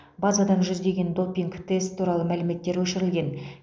базадан жүздеген допинг тест туралы мәліметтер өшірілген